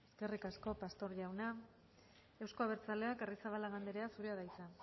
eskerrik asko pastor jauna eusko abertzaleak arrizabalaga andrea zurea da hitza